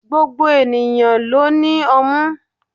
Gbogbo ènìyàn ló ní ọmú.